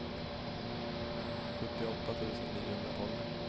sjuttioåtta tusen niohundratolv